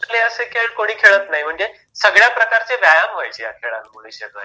आजकाल हे असे खेळ कोणी खेळत नाही म्हणजे सगळ्या प्रकारचे व्यायाम व्हायचे या खेळामध्ये